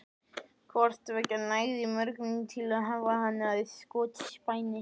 Hvort tveggja nægði mörgum til að hafa hana að skotspæni.